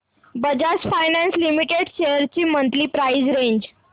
Bajaj finance limited shares ची monthly price range